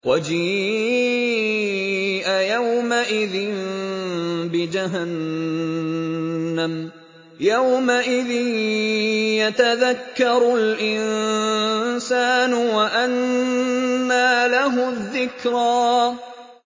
وَجِيءَ يَوْمَئِذٍ بِجَهَنَّمَ ۚ يَوْمَئِذٍ يَتَذَكَّرُ الْإِنسَانُ وَأَنَّىٰ لَهُ الذِّكْرَىٰ